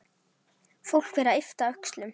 Fólk fer að yppta öxlum.